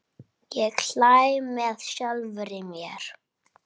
Ég hlæ með sjálfri mér.